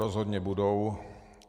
Rozhodně budou.